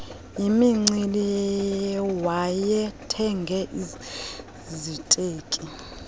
yimincili wayethenge iziteki